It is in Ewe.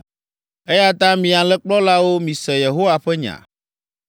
“Eya ta, mi alẽkplɔlawo, mise Yehowa ƒe nya.